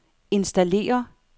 installere